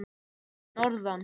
Fyrir norðan?